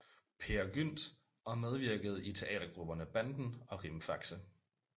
Peer Gynt og medvirkede i teatergrupperne Banden og Rimfaxe